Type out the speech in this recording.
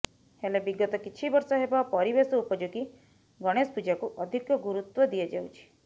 ହେଲେ ବିଗତ କିଛି ବର୍ଷ ହେବ ପରିବେଶ ଉପଯୋଗୀ ଗଣେଶ ପୂଜାକୁ ଅଧିକ ଗୁରୁତ୍ୱ ଦିଆଯାଉଛି